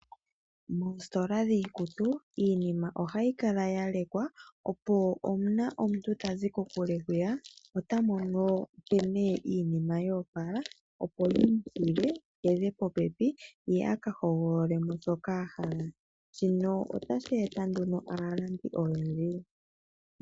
Moositola dhiikutu, iinima ohayi kala ya lekwa opo uuna omuntu tazi kokule hwiya, ota mono nkene iinima yo opala opo yimuninge a hedhe popepi. Shino otashi eta nduno aalandi oyendji.